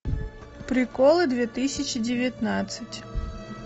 приколы две тысячи девятнадцать